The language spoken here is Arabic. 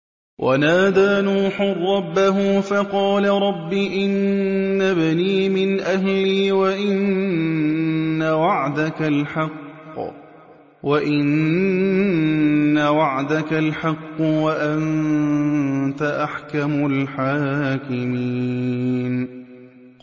وَنَادَىٰ نُوحٌ رَّبَّهُ فَقَالَ رَبِّ إِنَّ ابْنِي مِنْ أَهْلِي وَإِنَّ وَعْدَكَ الْحَقُّ وَأَنتَ أَحْكَمُ الْحَاكِمِينَ